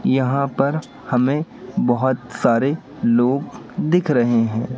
यहां पर हमें बहोत सारे लोग दिख रहे हैं।